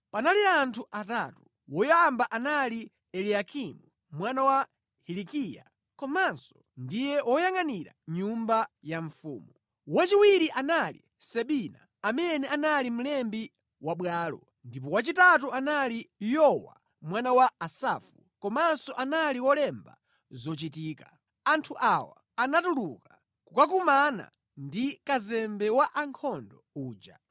Panali anthu atatu. Woyamba anali Eliyakimu mwana wa Hilikiya komanso ndiye woyangʼanira nyumba ya mfumu. Wachiwiri anali Sebina amene anali mlembi wa bwalo; ndipo wachitatu anali Yowa mwana wa Asafu komanso anali wolemba zochitika. Anthu awa anatuluka kukakumana ndi kazembe wa ankhondo uja.